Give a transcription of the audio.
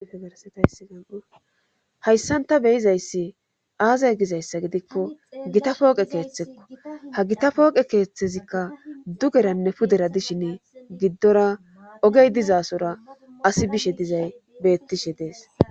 Hayssanta beyizayssi aazay gizayssa gidikko gita pooqe keeththekko ha gita pooqe keeththezikka dugeranne pudera dishin giddora ogey dizasora asi bishe dizay beettishe dees